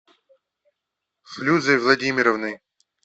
флюзой владимировной